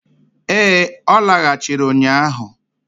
Ee, ọ lagachịrị ụnyaahụ.